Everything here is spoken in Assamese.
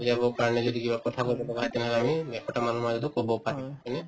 বুজাবৰ কাৰণে যদি কিবা কথা কবলগা হয় তেনেহলে আমি মানুহৰ মাজতো কব পাৰিম হয়নে